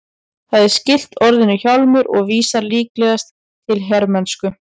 Það er skylt orðinu hjálmur og vísar líklegast til hermennsku.